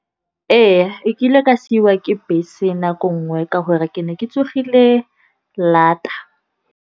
Ee, e kile ka siwa ke bese nako nngwe ka gore ke ne ke tsogile lata.